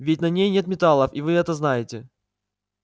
ведь на ней нет металлов и вы это знаете